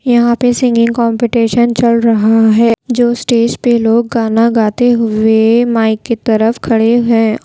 यहां पे singing competition चल रहा है जो स्टेज पे लोग गाना गाते हुए माइक की तरफ खड़े हैं।